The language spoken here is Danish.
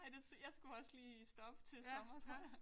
Ej det jeg skulle også lige stoppe til sommer tror jeg